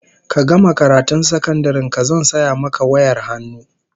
Ka gama karatun sakandaren ka zan saya maka wayar hannu